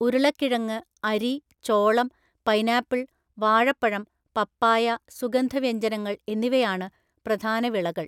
ഉരുളക്കിഴങ്ങ്, അരി, ചോളം, പൈനാപ്പിൾ, വാഴപ്പഴം, പപ്പായ, സുഗന്ധവ്യഞ്ജനങ്ങൾ എന്നിവയാണ് പ്രധാന വിളകൾ.